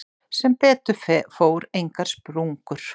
Sem betur fór engar sprungur.